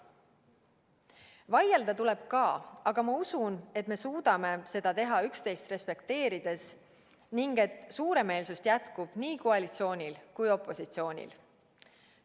Vaielda tuleb ka, aga ma usun, et me suudame seda teha üksteist respekteerides ning et suuremeelsust jätkub nii koalitsioonil kui ka opositsioonil.